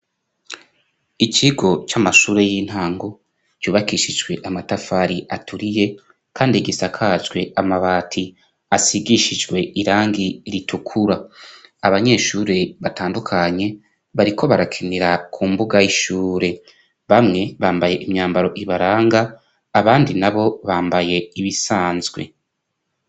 ikigo cy'amashure y'intango cyubakishijwe amatafari aturiye kandi gisakajwe amabati asigishijwe irangi ritukura abanyeshuri batandukanye bariko barakinira ku mbuga y'ishure bamwe bambaye imyambaro ibaranga abandi na bo bambaye ibisanzwe